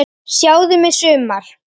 Sjáðu mig sumar!